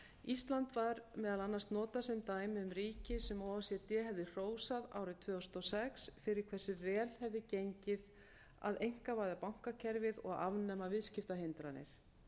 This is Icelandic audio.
ísland var meðal annars notað sem dæmi um ríki sem o e c d hefði hrósað árið tvö þúsund og sex fyrir hversu vel hefði gengið að einkavæða bankakerfið og afnema viðskiptahindranir